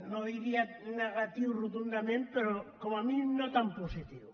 no diria negatiu rotundament però com a mínim no tan positiu